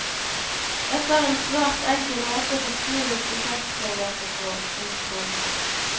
Dette er en svært enkel måte å beskrive prosjektforløpet på. punktum